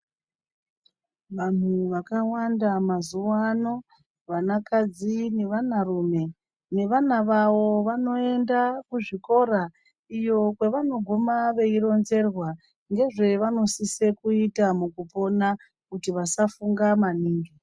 Vanhu vakawanda mazuwaano, vanakadzi nevanarume nevana vavo, vanoenda kuzvikora iyo kwavanoguma veironzerwa ngezvevanosise kuita mukupona kuti vasafunga maningi.